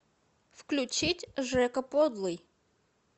включить жека подлый